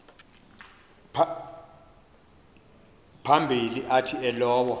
phambili athi elowo